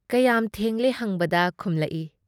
ꯀꯌꯥꯝ ꯊꯦꯡꯂꯦ ꯍꯪꯕꯗ ꯈꯨꯝꯂꯛꯏ -